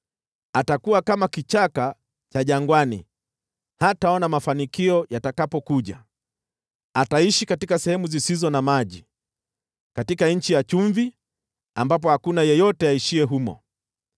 Atakuwa kama kichaka cha jangwani; hataona mafanikio yatakapokuja. Ataishi katika sehemu zisizo na maji, katika nchi ya chumvi ambapo hakuna yeyote aishiye humo.